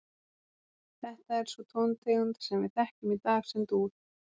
Þetta er sú tóntegund sem við þekkjum í dag sem dúr.